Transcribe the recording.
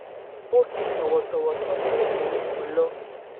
ó fi tòwòtòwò sọ pé òun kò lọ